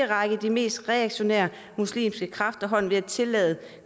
række de mest reaktionære muslimske kræfter hånden ved at tillade